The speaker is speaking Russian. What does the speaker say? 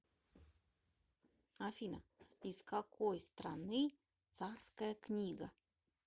афина из какой страны царская книга